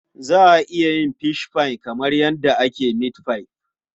Za a yin fishfai kamar yadda ake mitfai.